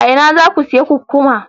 A ina za ku sayi kukkuma?